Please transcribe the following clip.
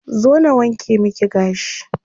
Zo na wanke miki gashi.